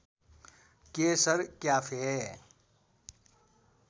Keshar cafe